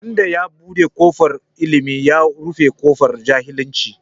Wanda ya buɗe kofar Ilimi, ya rufe ƙofar jahilci.